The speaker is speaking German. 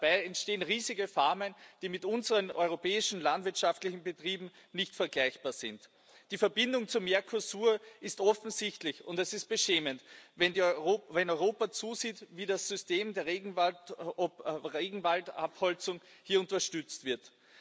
Dabei entstehen riesige Farmen, die mit unseren europäischen landwirtschaftlichen Betrieben nicht vergleichbar sind. Die Verbindung zum Mercosur ist offensichtlich, und es ist beschämend, wenn Europa zusieht, wie das System der Regenwaldabholzung hier unterstützt wird.